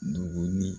Dugu ni